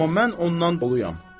Amma mən ondan doluyam.